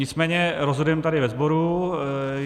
Nicméně rozhodujeme tady ve sboru.